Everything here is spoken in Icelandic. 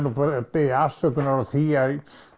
nú bara að biðjast afsökunar á því að